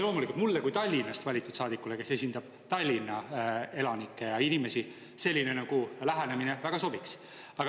Loomulikult mulle kui Tallinnast valitud saadikule, kes esindab Tallinna elanikke, selline lähenemine väga sobiks.